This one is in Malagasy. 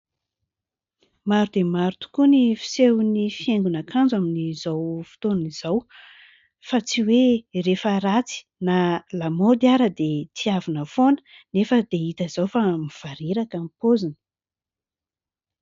Maro dia maro tokoa ny fisehon'ny fihaingon'akanjo amin'izao fotoana izao ; fa tsy hoe rehefa ratsy na lamaody ary dia tiavina foana anefa dia hita izao fa mivareraka ny paoziny.